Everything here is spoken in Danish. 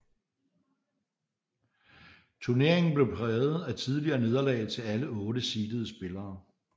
Turneringen blev præget af tidlige nederlag til alle otte seedede spillere